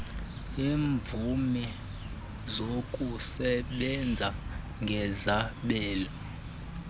yeemvume zokusebenza ngezabelo